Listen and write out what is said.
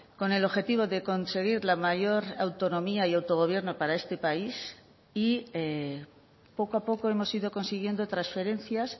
con el objetivo de conseguir la mayor autonomía y autogobierno para este país y poco a poco hemos ido consiguiendo transferencias